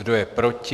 Kdo je proti?